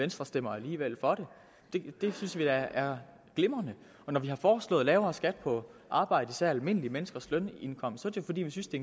venstre stemmer alligevel for det det synes vi da er glimrende og når vi har foreslået lavere skat på arbejde især almindelige menneskers lønindkomst er det fordi vi synes det